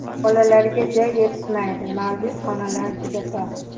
Bolalarga joy yetishmaydi, mavjud xonalar juda tor.